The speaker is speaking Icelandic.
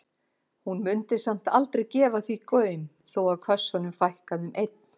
Hún mundi samt aldrei gefa því gaum þó að kössunum fækkaði um einn.